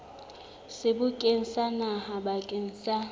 sebokeng sa naha bakeng sa